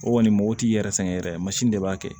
O kɔni mɔgɔ t'i yɛrɛ sɛgɛn yɛrɛ de b'a kɛ